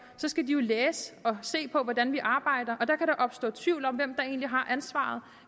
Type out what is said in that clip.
jo læse og se på hvordan vi arbejder og der kan der opstå tvivl om hvem der egentlig har ansvaret